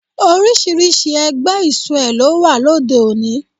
Oríṣiríṣi ẹgbẹ́ isoe ló wà lóde òní